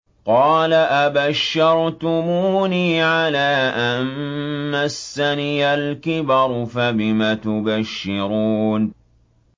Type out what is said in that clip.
قَالَ أَبَشَّرْتُمُونِي عَلَىٰ أَن مَّسَّنِيَ الْكِبَرُ فَبِمَ تُبَشِّرُونَ